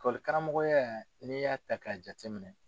Karamɔgɔ ya, n'i y'a ta'a jate minɛ.